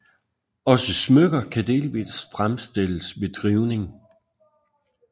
Også smykker kan delvist fremstilles ved drivning